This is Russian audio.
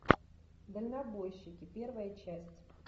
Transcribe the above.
дальнобойщики первая часть